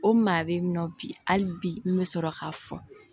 O maa bɛ yen nɔ bi hali bi n bɛ sɔrɔ k'a fɔ